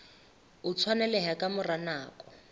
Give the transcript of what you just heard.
o tshwaneleha ka mora nako